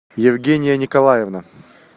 евгения николаевна